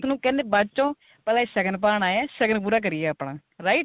ਨੂੰ ਕਹਿੰਦੇ ਬਾਅਦ ਚੋ ਪਹਿਲਾਂ ਸ਼ਗਨ ਪਾਣ ਆਏ ਆ ਸ਼ਗਨ ਪੂਰਾ ਕਰੀਏ ਆਪਣਾ write